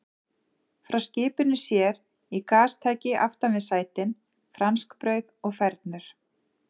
Frá skipinu sér í gastæki aftan við sætin, franskbrauð og fernur.